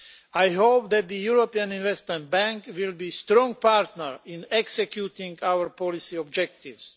I hope that the European Investment Bank will be a strong partner in executing our policy objectives.